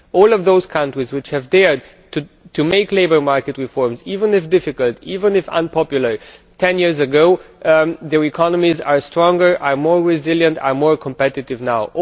All of those countries which have dared to make labour market reforms, even if difficult, even if unpopular ten years ago, their economies are stronger and more resilient and more competitive now.